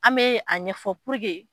An bɛ a ɲɛfɔ